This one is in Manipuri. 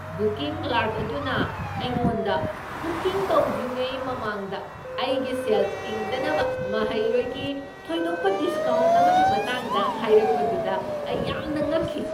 ꯕꯨꯀꯤꯡ ꯀ꯭ꯂꯔꯛ ꯑꯗꯨꯅ ꯑꯩꯉꯣꯟꯗ ꯕꯨꯀꯤꯡ ꯇꯧꯗ꯭ꯔꯤꯉꯩ ꯃꯃꯥꯡꯗ ꯑꯩꯒꯤ ꯁꯦꯜ ꯇꯤꯡꯗꯅꯕ ꯃꯍꯩꯔꯣꯏꯒꯤ ꯊꯣꯏꯗꯣꯛꯄ ꯗꯤꯁꯀꯥꯎꯟꯠ ꯑꯃꯒꯤ ꯃꯇꯥꯡꯗ ꯍꯥꯏꯔꯛꯄꯗꯨꯗ ꯑꯩ ꯌꯥꯝꯅ ꯉꯛꯈꯤ ꯫